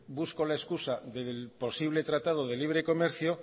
busco la excusa del posible tratado de libre comercio